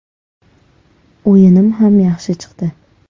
O‘yinim ham yaxshi chiqdi.